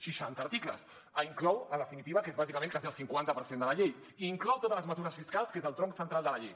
seixanta articles inclouen en definitiva que és bàsicament quasi el cinquanta per cent de la llei inclouen totes les mesures fiscals que és el tronc central de la llei